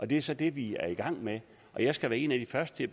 det er så det vi er i gang med jeg skal være en af de første